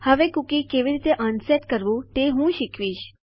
હવે કુકી કેવી રીતે અનસેટ કરવું તે હું તમને શીખવીશ